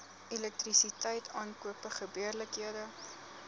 elektrisiteit aankope gebeurlikhede